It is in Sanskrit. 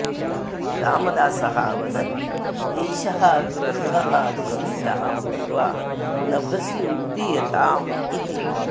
रामदासः अवदत् एषः गृद्धः जीवितः भूत्वा नभसि उड्डियताम् इति